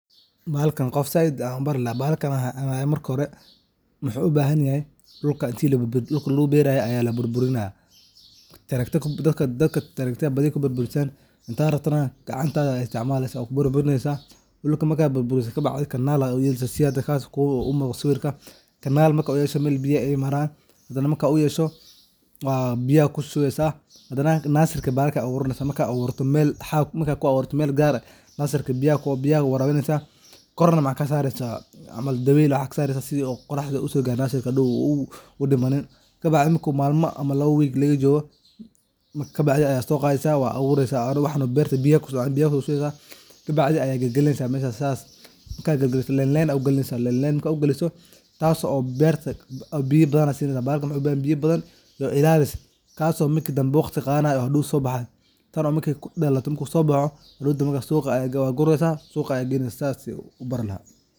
Bahalkan ayaan dadka zaid u baraya, marka hore dhulka ayaa laburburinya tractor kuburburisan hada rabtana gacantada ayaad isticmalesa oo kuburburinesa ,dhulka markad burburisid canal aa u yelesa ,sidha hada muqata sawirka. canal markad u yesho biyad kushuesa hadana nursery aad aburanesa mel gar ah aad u xaqesa korna waxad kasaresa dawel iyo wax sas camal si aad oraxda oga rebta uu dimanin ,kabacdi marki laga joga wigya waad so qadesa waad so qadesa oo waad aburesa waxano beerta biya kusocdan ,kabacdi ayad galgalinesa line line ayaad u galinesa ,markad u galiso waxad sinesa biyo bahalka wuxu bahan yahay biyo badan iyo ilalis kaso waqti badan gadanayo oo hadow so bahayo tano markey kudalato, hadow danbe waad guresa ,suqa ayaad geynesa sas an kubari laha.